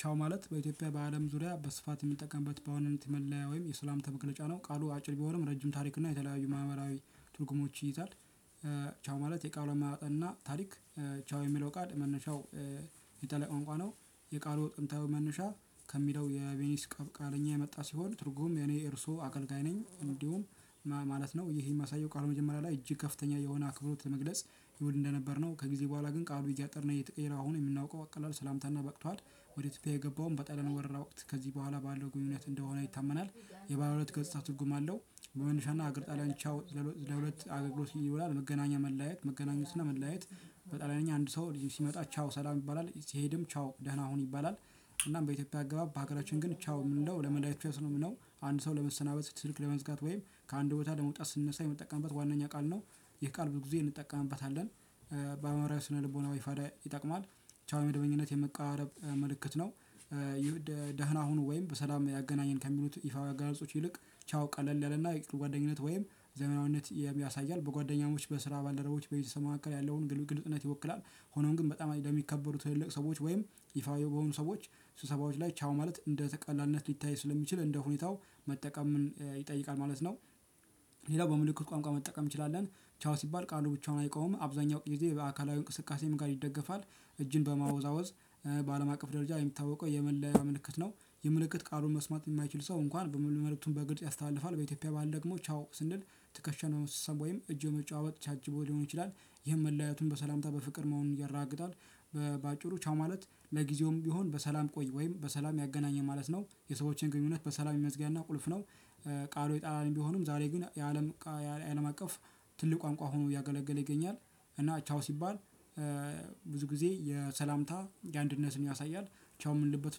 ቻው ማለት በኢትዮጵያ በአለም ዙሪያ በስፋት የምንጠቀምበት በዋናነት መለያ ወይም የሰላምተ ምክንያት ነው ቃሉ አጭር ቢሆንም ረጅም ታሪክ እና የተለያዩ ማህበራዊ ትርጉሞች ይይዛል። ቻው ማለት የቃሉ እና ታሪክ። ቻው የሚለው ቃል መነሻው የተለየ ቋንቋ ነው። የቃሉ ጥንታዊ መነሻ ከሚለው የቤኒስ ቃለኛ የመጣ ሲሆን ትርጉም የኔ እርሶ አገልጋይ ነኝ እንዲሁ ማለት ነው። ይሄ የሚያሳየው ቃሉ መጀመሪያ ላይ እጅግ ከፍተኛ የሆነ አክብሮት ለመግለጽ ይውል እንደነበር ነው። ከጊዜ በኋላ ግን ቃሉ እያጠረ እና እየተቀየረ አሁን የምናውቀው አቀላል ሰላምታና በቅቷት ወደ ኢትዮጵያ የገባውም በጣሊያን ወረራ ወቅት ከዚህ በኋላ ባለው ግንኙነት እንደሆነ ይታመናል። የባለ ሁለት ገጽታ ትርጉም አለው። በመነሻና አገር ጣሊያን ቻው ለሁለት አገግሎት ይውላል መገናኛ መለያየት መገናኘት እና መለያየት። በጣሊያንኛ አንድ ሰው ልጅ ሲመጣ ቻው ሰላም ይባላል ሲሄድም ቻው ደህና ሁን ይባላል። እና በኢትዮጵያ አገባብ በሀገራችን ግን ቻው እምንለው ለመዳኒት የሚያስሩ ነው አንድ ሰው ለመሰናበት ስልክ ለመዝጋት ወይም ከአንድ ቦታ ለመውጣት ስንነሳ የምንጠቀምበት ዋናኛ ቃል ነው። ይህ ቃል ብዙ ጊዜ እንጠቀምበታለን። በአእምሯዊ ስነልቦናዊ ፋይዳ ይጠቅማል። ቻው የመደበኝነት የመቀራረብ ምልክት ነው ይህ ቃል ብዙ ጊዜ እንጠቀምበታለን በአእምሯዊ ስነልቦናዊ ፋይዳ ይጠቅማል ቻው የመደበኝነት የመቀራረብ ምልክት ነው። ሆኖም ግን በጣም አይደለም ለሚከበሩ ትልልቅ ሰዎች ወይም ይፋ የሆኑ ሰዎች ስብሰባዎች ላይ ቻው ማለት እንደ ቀላልነት ሊታይ ስለሚችል እንደ ሁኔታው መጠቀምን ይጠይቃል ማለት ነው። ሌላው በምልክት ቋንቋ መጠቀም እንችላለን። ቻው ሲባል ቃሉ ብቻውን አይቆምም አብዛኛው ጊዜ በአካላዊ እንቅስቃሴም ጋር ይደገፋል። እጅን በማወዛወዝ ባለም አቀፍ ደረጃ የሚታወቀው የመለያያ ምልክት ነው። የምልክት ቃሉን መስማት የማይችል ሰው እንኳን መልእክቱን ያስተላልፋል በኢትዮጵያ ባህል ደግሞ ቻው ስንል ትከሻን በመሳሳብ እጅን በመጨባበጥ ታጅቦ ሊሆን ይችላል። ይሄም መለያየቱን በሰላም በፍቅር መሆኑን ያረጋግጣል። በአጭሩ ቻው ማለት ለጊዜውም ቢሆን በሰላም ቆይ ወይም በሰላም ያገናኘን ማለት ነው። የሰዎችን ግንኙነት በሰላም የመዝጊያ እና ቁልፍ ነው። ቃሉ የጣሊያን ቢሆንም ዛሬ ግን የአለም የአለም አቀፍ ትልቅ ቋንቋ ሆኖ እያገለገለ ይገኛል። እና ቻው ሲባል ብዙ ጊዜ የሰላምታ የአንድነትን ያሳያል። ቻው የምንልበት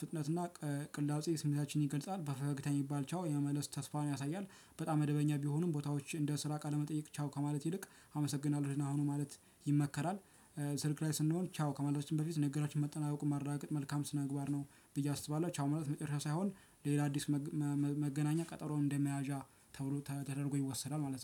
ፍጥነትና ቅላጼ ስሜታችን ይገልጻል በፈገግታ የሚባል ቻው የመመለስ ተስፋን ያሳያል። በጣም መደበኛ ቢሆኑም ቦታዎች እንደ ስራ ቃለ መጠየቅ ቻው ከማለት ይልቅ አመሰግናለሁ ደህና ሁኑ ማለት ይመከራል። ስልክ ላይ ስንሆን ቻው ከማለታችን በፊት ንግግራችን መጠናቀቁን ማረጋገጥ መልካም ስነምግባር ነው ብዬ አስባለሁ። ቻው መለት መጨረሻ ሳይሆን ሌላ አዲስ መገናኛ ቀጠሮን እንደመያዣ ተብሎ ተደርጎ ይወሰዳል ማለት ነው